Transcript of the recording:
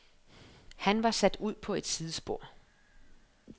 Han var sat ud på et sidespor .